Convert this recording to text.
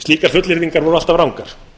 slíkar fullyrðingar voru alltaf rangar